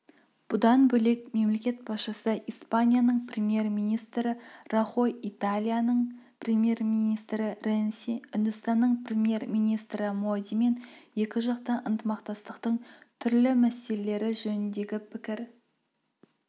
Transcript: бұдан бөлек мемлекет басшысы испанияның премьер-министрі рахой италияның премьер-министрі ренци үндістанның премьер-министрі модимен екіжақты ынтымақтастықтың түрлі мәселелері жөніндегі пікір